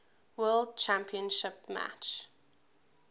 world championship match